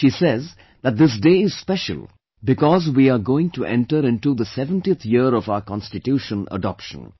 She says that this day is special because we are going to enter into the 70th year of our Constitution adoption